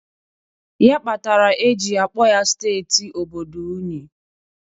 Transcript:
Ya kpatara e ji akpọ ya steeti obodo unyi.